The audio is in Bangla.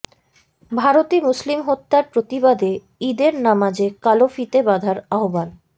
ভারতে মুসলিম হত্যার প্রতিবাদে ঈদের নামাজে কালো ফিতে বাঁধার আহ্বান